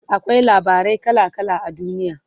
akwai labarai kala kala a duniya